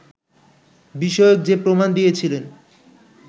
বিষয়ক যে প্রমাণ দিয়েছিলেন